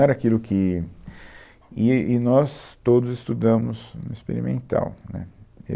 Não era aquilo que... E, e nós todos estudamos no Experimental, né